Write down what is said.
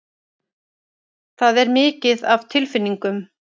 Það er mikið af tilfinningum.